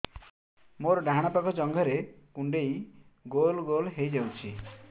ମୋର ଡାହାଣ ପାଖ ଜଙ୍ଘରେ କୁଣ୍ଡେଇ ଗୋଲ ଗୋଲ ହେଇଯାଉଛି